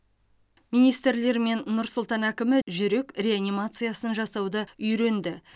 министрлер мен нұр сұлтан әкімі жүрек реанимациясын жасауды үйренді